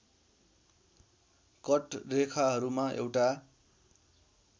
cut रेखाहरूमा एउटा